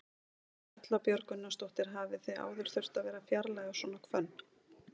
Erla Björg Gunnarsdóttir: Hafið þið áður þurft að vera að fjarlægja svona hvönn?